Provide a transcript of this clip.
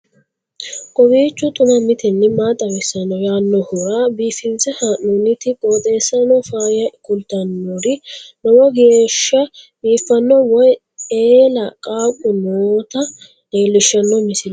kowiicho xuma mtini maa xawissanno yaannohura biifinse haa'noonniti qooxeessano faayya kultannori lowo geeshsha biiffanno wayi eela qaaqu noota leellishshanno misileeti